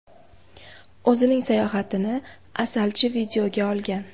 O‘zining sayohatini asalchi videoga olgan.